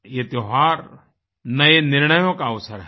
यह त्योहारनए निर्णयों का अवसर है